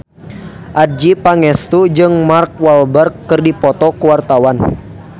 Adjie Pangestu jeung Mark Walberg keur dipoto ku wartawan